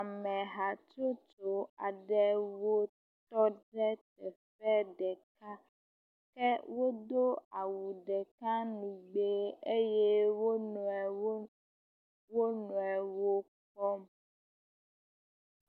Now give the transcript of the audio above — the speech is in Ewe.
Ame hatsotso aɖewo tɔ ɖe teƒe ɖeka, wodo awu ɖeka nugbee eye wo nɔewo, wo nɔewo kpɔm.